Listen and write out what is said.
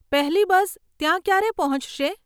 પહેલી બસ ત્યાં ક્યારે પહોંચશે?